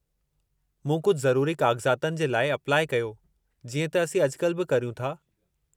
मूं कुझु ज़रुरी काग़ज़ातनि जे लाइ अपलाइ कयो, जीअं त असीं अॼुकल्ह बि करियूं था।